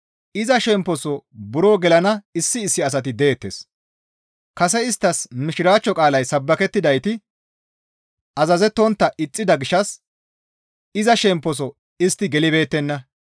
Iza shemposo buro gelana issi issi asati deettes; kase isttas mishiraachcho qaalay sabbakettidayti azazettontta ixxida gishshas iza shemposo istti gelibeettenna.